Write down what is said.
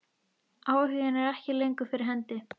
Áhuginn er ekki lengur fyrir hendi.